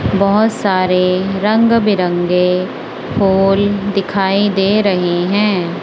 बहोत सारे रंग बिरंगे फूल दिखाई दे रही हैं।